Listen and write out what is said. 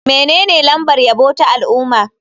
Menene lambar yabo ta al'umma?